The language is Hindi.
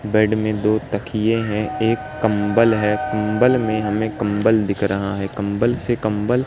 बेड में दो तकिये हैं एक कंबल है कंबल में हमें कंबल दिख रहा है कंबल से कंबल --